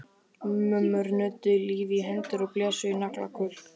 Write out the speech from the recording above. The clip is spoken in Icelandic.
Mömmur nudduðu lífi í hendur og blésu í naglakul.